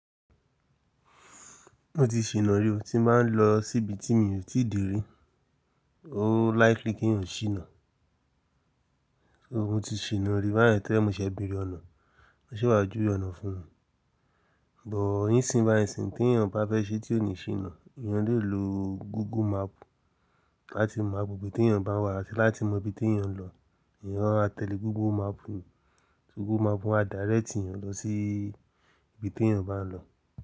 Mo ti ṣìná rí, tí n bá n lọ síbi tí mi ò tí dé rí, ó likely kí n sìná. Mo ti ṣìná rí báyìí torí ní mo ṣẹ̀ béèrè ọ̀nà, wón se wá jú we ọ̀nà fún mi. Bọ̀ yín sí ń báyi sìn tè èyàn bá fẹ́ ṣe tí ò ní ṣìná, èèyàn lè lo Google Map láti mọ agbègbè tè èyàn bá wà àti láti mọ ibi tí èèyàn ń lọ. Ẹ̀èyàn á tẹ̀lé Google Map, Google Map a direct èèyàn lọ sí ibi tí èèyàn bá ń lọ.